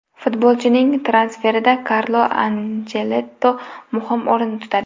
Futbolchining transferida Karlo Anchelotti muhim o‘rin tutadi.